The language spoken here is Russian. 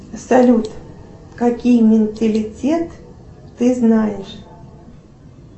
салют какие менталитет ты знаешь